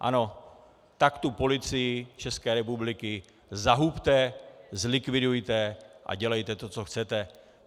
Ano, tak tu Policii České republiky zahubte, zlikvidujte a dělejte to, co chcete!